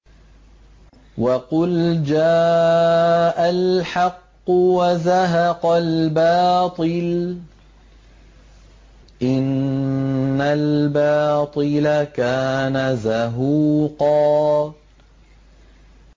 وَقُلْ جَاءَ الْحَقُّ وَزَهَقَ الْبَاطِلُ ۚ إِنَّ الْبَاطِلَ كَانَ زَهُوقًا